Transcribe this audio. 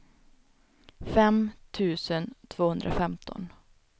fem tusen tvåhundrafemton